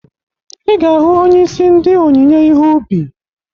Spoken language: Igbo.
Ị ga-ahụ onyeisi ndị onyinye ihe ubi